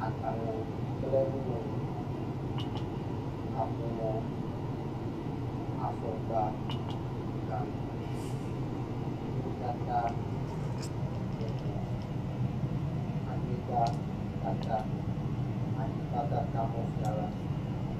Agbalẽ kple nuŋɔŋlɔ. Kaƒomɔ, afɔkpa, gankui. Nuwo katã ɖe mɔ. Anyigba katã. Anyigba katã, mɔ fia la.